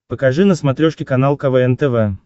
покажи на смотрешке канал квн тв